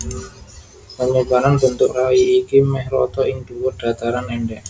Panyebaran bentuk rai iki mèh rata ing dhuwur dhataran endhèk